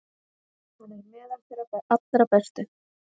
Hann er meðal þeirra allra bestu.